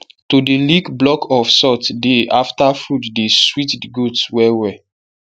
to dey lick block of salt dey after food dey sweet the goats well well